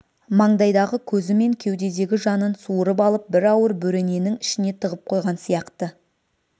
маңдайдағы көзі мен кеудедегі жанын суырып алып бір ауыр бөрененің ішіне тығып қойған сияқты